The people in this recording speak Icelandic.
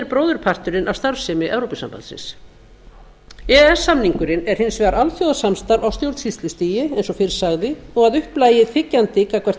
bróðurparturinn af starfsemi evrópusambandsins e e s samningurinn er hins vegar alþjóðasamstarf á stjórnsýslustigi eins og fyrr sagði og að upplagi þiggjandi gagnvart e